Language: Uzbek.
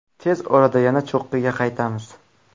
Tez orada yana cho‘qqiga qaytamiz.